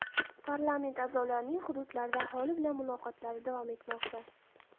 Parlament a’zolarining hududlarda aholi bilan muloqotlari davom etmoqda.